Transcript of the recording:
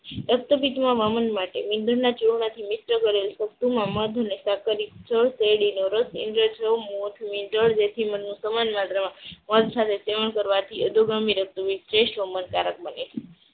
રક્તપીતમાં વમન માટે વમનના ચૂર્ણથી મિશ્ર કરેલ મધ અને સાંકળ કરી શેરડીનો રસ સમાન માત્રામાં સેવન કરવાથી જેસ્ટ વામન કારક બને છે.